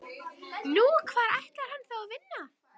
Nú, hvar ætlar hann þá að vinna?